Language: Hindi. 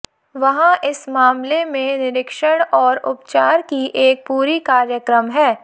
वहाँ इस मामले में निरीक्षण और उपचार की एक पूरी कार्यक्रम है